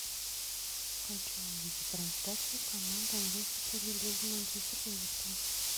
хочу увидеть трансляцию команд английской премьер лиги манчестер эвертон